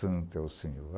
Santo é o Senhor.